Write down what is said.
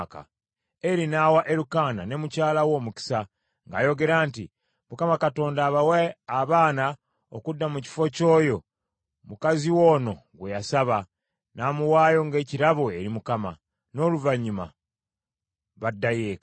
Eri n’awa Erukaana ne mukyala we omukisa, ng’ayogera nti, “ Mukama Katonda abawe abaana okudda mu kifo ky’oyo mukazi wo ono gwe yasaba, n’amuwaayo ng’ekirabo eri Mukama .” N’oluvannyuma baddayo eka.